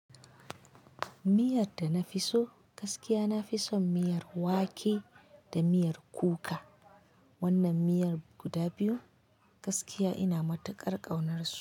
Miyar da na fi so gaskiya, na fi son miyar wake da miyar kuka. Wannan miyar guda biyu gaskiya ina matuƙar ƙaunarsu.